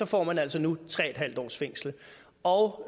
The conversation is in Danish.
får man altså nu tre en halv års fængsel og